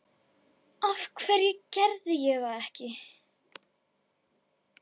Af hverju gerði ég það ekki?